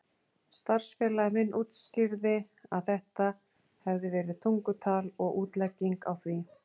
Starfsfélagi minn útskýrði að þetta hefði verið tungutal og útlegging á því.